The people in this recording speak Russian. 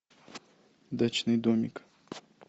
дачный домик